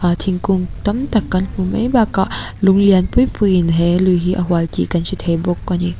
aa thingkung tam tak kan hmuh mai bakah lung lian pui puiin he lui hi a hual tih kan hre thei bawk a ni.